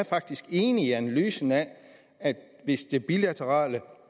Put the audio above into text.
faktisk enig i analysen af at hvis det bilaterale